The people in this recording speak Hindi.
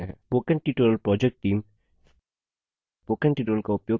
spoken tutorial project team